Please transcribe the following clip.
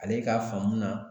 Ale ka faamu na